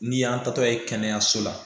N'i y'an taatɔ ye kɛnɛyaso la